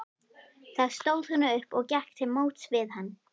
Þá stóð hún upp og gekk til móts við hann.